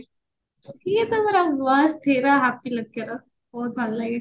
ସିଏ ତ ପୁରା ମସ୍ତ ହୀରୋ ବହୁତ ଭଲ ଲାଗେ